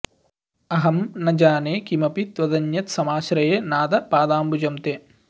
अहं न जाने किमपि त्वदन्यत् समाश्रये नाथ पदाम्बुजं ते